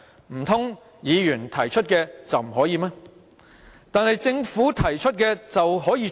難道由議員提出就不可以隨便改動，但政府提出的便可以嗎？